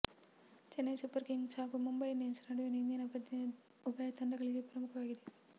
Chennai Super Kings ಹಾಗೂ Mumbai Indians ನಡುವಿನ ಇಂದಿನ ಪಂದ್ಯ ಉಭಯ ತಂಡಗಳಿಗೆ ಪ್ರಮುಖವಾಗಿದೆ